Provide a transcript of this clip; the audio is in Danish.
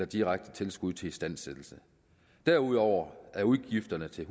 direkte tilskud til istandsættelse derudover er udgifterne til